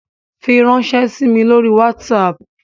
Firanṣẹ sí mí lórí WhatsApp!